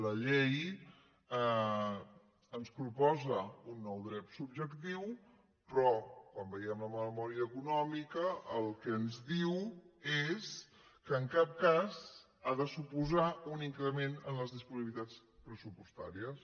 la llei ens proposa un nou dret subjectiu però com veiem en la memòria econòmica el que ens diu és que en cap cas ha de suposar un increment en les disponibilitats pressupostàries